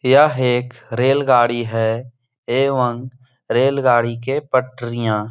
यह एक रेलगाड़ी है एवं रेलगाड़ी के पटरियाँ --